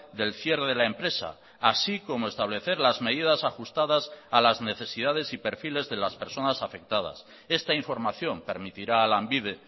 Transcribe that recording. del cierre de la empresa así como establecer las medidas ajustadas a las necesidades y perfiles de las personas afectadas esta información permitirá a lanbide